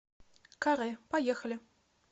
каре поехали